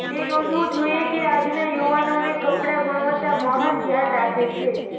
તે નોંધવું જોઇએ કે આજના યુવાનોને કપડાં ગુણવત્તા મહાન ધ્યાન રાખે છે